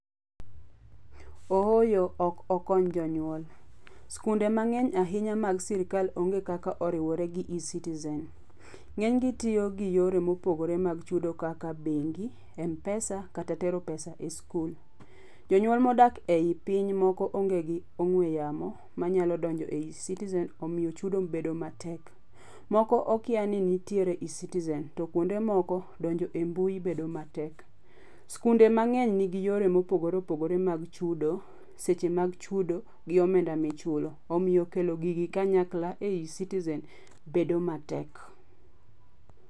Ooyo, ok okony jonyuol. Sikunde mangény ahinya mag sirkal onge kaka oriwore gi eCitizen. Ngénygi tiyo gi yore mopogore mag chudo kaka bengi, mpesa, kata tero pesa e skul. Jonyuol modak ei piny moko onge gi ong'we yamo, manyalo donjo ei eCitizen, omiyo chudo bedo matek. Moko okia ni nitiere eCitizen, to kuonde moko donjo ei mbui bedo matek. Skunde mangény nigi yore mopogore opogore mag chudo, seche mag chudo, gi omenda michulo, omiyo kelo gigi kanyakla e eCitizen bedo matek.